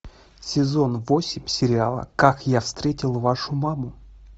сезон восемь сериала как я встретил вашу маму